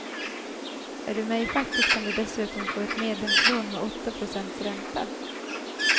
Är du med i facket kan du dessutom få ett medlemslån med åtta procents ränta.